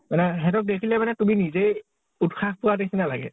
মানে সিহঁতক দেখিলে মানে তুমি নিজেই উত্‍সাহ পোৱা নিছিনা লাগে ।